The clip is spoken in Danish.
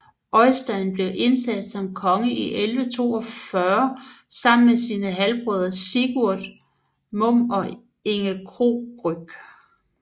Øystein blev indsat som konge i 1142 sammen med sine halvbrødre Sigurd Munn og Inge Krogryg